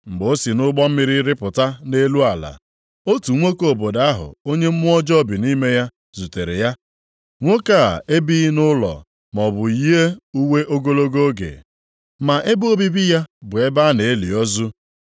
Mgbe o si nʼụgbọ mmiri rịpụta nʼelu ala, otu nwoke obodo ahụ onye mmụọ ọjọọ bi nʼime ya zutere ya. Nwoke a ebighị nʼụlọ maọbụ yie uwe ogologo oge, ma ebe obibi ya bụ ebe a na-eli ozu.